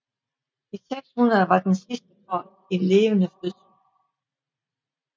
Dag 600 var den sidste for en levende fødsel